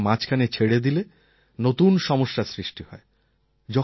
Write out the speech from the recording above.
চিকিৎসা মাঝখানে ছেড়ে দিলে নতুন সমস্যার সৃষ্টি হয়